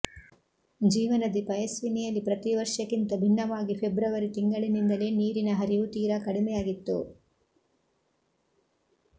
ಜೀವನದಿ ಪಯಸ್ವಿನಿಯಲ್ಲಿ ಪ್ರತಿ ವರ್ಷಕ್ಕಿಂತ ಭಿನ್ನವಾಗಿ ಫೆಬ್ರವರಿ ತಿಂಗಳಿನಿಂದಲೇ ನೀರಿನ ಹರಿವು ತೀರಾ ಕಡಿಮೆಯಾಗಿತ್ತು